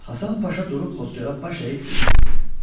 Həsən Paşa durub Xodkara baş əyib dedi: